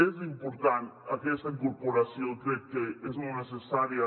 és important aquesta incorporació crec que és molt necessària